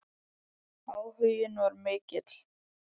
Áhuginn var mikill.